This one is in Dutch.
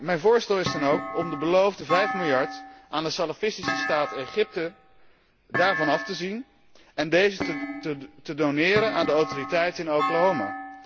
Mijn voorstel is dan ook om van de beloofde vijf miljard aan de salafistische staat Egypte af te zien en deze te doneren aan de autoriteiten in Oklahoma.